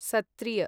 Sattriya